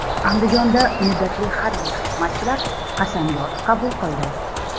Andijonda muddatli harbiy xizmatchilar qasamyod qabul qildi .